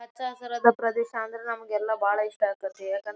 ಹಚ್ಚ ಹಸಿರಾದ ಪ್ರದೇಶ ಅಂದ್ರ ನಮಗೆಲ್ಲ ಬಹಳ ಇಷ್ಟ ಆಗ್ತಹಿತಿ. ಯಾಕಂದ್--